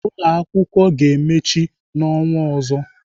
Ụlọakwụkwọ ga-emechi n'ọnwa ọzọ.